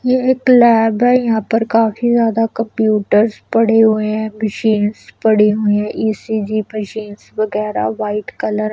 ये एक लैब है यहाँ पर काफी ज्यादा कंप्यूटर्स पड़े हुए हैं मशीन्स पड़ी हुई हैं ई_सी_जी मशीन्स वेगेरा वाइट कलर --